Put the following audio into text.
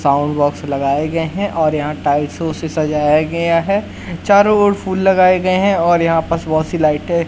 sound box लगाए गए हैं और यहाँ टाइल्सोँ से सजाया गया है चारों ओर फूल लगाए गए हैं और यहाँ पस बहोत सी लाइटें --